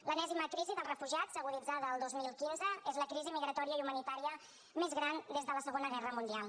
l’enèsima crisi dels refugiats aguditzada el dos mil quinze és la crisi migratòria i humanitària més gran des de la segona guerra mundial